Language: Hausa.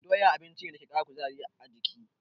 Doya abinci ne dake ƙara kuzari a jiki.